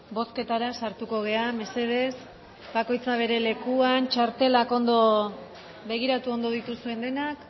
bozketara sartuko gara mesedez bakoitza bere lekuan txartelak begiratu ondo dituzuen denak